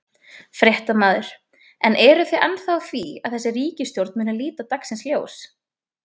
Fréttamaður: En eru þið ennþá á því að þessi ríkisstjórn muni líta dagsins ljós?